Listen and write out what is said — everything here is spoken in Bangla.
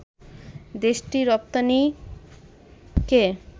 দেশটির রপ্তানিকে